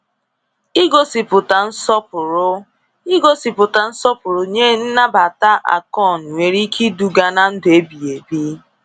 Igosipụta nsọpụrụ Igosipụta nsọpụrụ nye nnabata Akon nwere ike iduga na ndụ ebighi ebi.